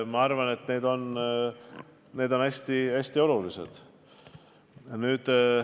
Ma arvan, et need on hästi olulised otsused.